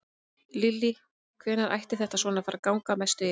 Lillý: Hvenær ætti þetta svona að fara að ganga að mestu yfir?